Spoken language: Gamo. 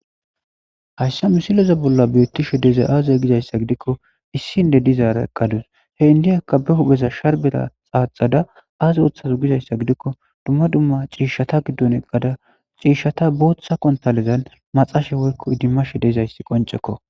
Hayssa misileza bolla beeththishe dizay aazee gizayssa giikko issi indde dizaara eqqade he inddiyaakka sharbbeza xaaxada dizayssa gidikko dumma dumma ciishshatha giddon eqqada ciishshatha booththa konththaaledan maxashe woykko idimmashe dizayssa qonccekko.